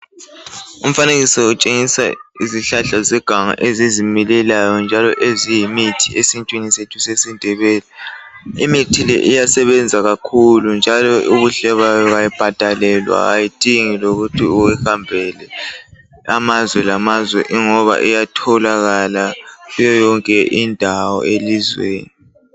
Umfanekiso utshengisa izihlahla zeganga ezizimilelayo njalo eziyimithi esintwini sethu sesindebele, imithi le iyasebenza kakhulu njalo ubuhle bayo ayibhadalelwa ayidingi lokuthi uhambe amazwe lamazwe ingoba iyatholakala kuyo yonke indawo elizweni